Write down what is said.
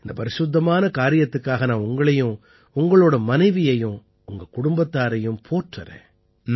இந்த பரிசுத்தமான காரியத்துக்காக நான் உங்களையும் உங்களோட மனைவியையும் உங்க குடும்பத்தாரையும் போற்றறேன்